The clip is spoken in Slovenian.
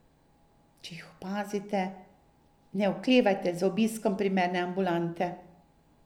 Če jih opazite, ne oklevajte z obiskom primerne ambulante.